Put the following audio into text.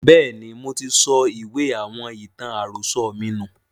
Bẹ́ẹ̀ni, moti sọ ìwé àwọn ìtàn àròsọ̀ mi nù